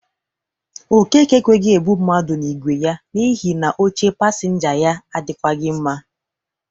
Okeke ekweghi ebụ mmadụ n'igwe ya n'ihi na oche pasịnja ya adịkwagị mma.